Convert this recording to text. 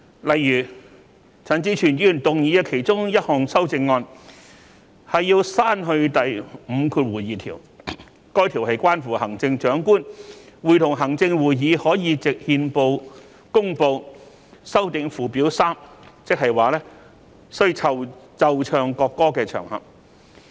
例如，陳志全議員動議的其中一項修正案要刪去第52條，該條文關乎行政長官會同行政會議可以藉憲報公告修訂附表 3， 即需奏唱國歌的場合。